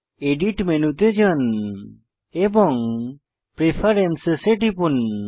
edit মেনুতে যান এবং প্রেফারেন্স এ টিপুন